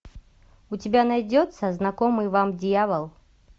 у тебя найдется знакомый вам дьявол